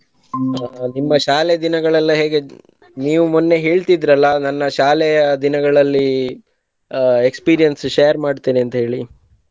ನಿಮ್ಮ ಶಾಲೆ ದಿನಗಳೆಲ್ಲಾ ಹೇಗಿದ್ದವು ನೀವು ಮೊನ್ನೆ ಹೇಳ್ತಿದ್ರಿ ಅಲ್ಲಾ ನನ್ನ ಶಾಲೆಯ ದಿನಗಳಲ್ಲಿ ಅ experience share ಮಾಡ್ತೇನೆ ಅಂತ ಹೇಳಿ.